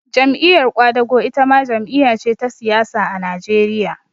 Jam'iyar ƙwadago itama jam'iya ce ta siyasa a Najeriya